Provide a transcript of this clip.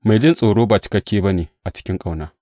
Mai jin tsoro ba cikakke ba ne a cikin ƙauna.